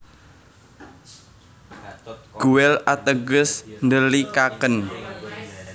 Guel ateges ndhelikaken